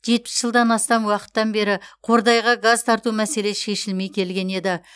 жетпіс жылдан астам уақыттан бері қордайға газ тарту мәселесі шешілмей келген еді